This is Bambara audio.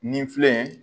Nin filɛ